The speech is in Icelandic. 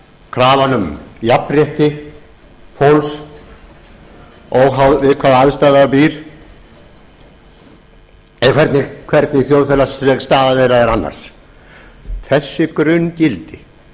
krafan um jafnrétti fólks óháð við hvaða aðstæður það býr eða hvernig þjóðfélagsleg staða þeirra er annars þessi grunngildi